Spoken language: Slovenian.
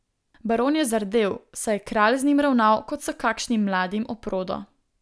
Baron je zardel, saj je kralj z njim ravnal kot s kakšnim mladim oprodo.